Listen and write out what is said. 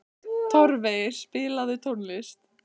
Torfey, spilaðu tónlist.